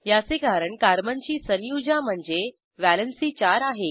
याचे कारण कार्बनची संयुजा म्हणजे व्हॅलेंसी चार आहे